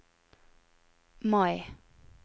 Mai